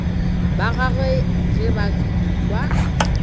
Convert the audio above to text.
ba gagwe ge ba ekwa